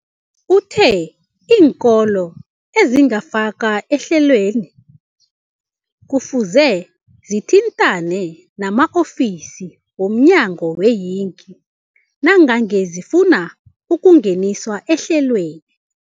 Uthe iinkolo ezingakafakwa ehlelweneli kufuze zithintane nama-ofisi wo mnyango weeyingi nangange zifuna ukungeniswa ehlelweni.